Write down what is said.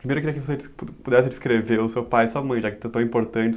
Primeiro eu queria que você pudesse descrever o seu pai e sua mãe, já que estão tão importantes.